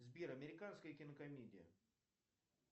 сбер американская кинокомедия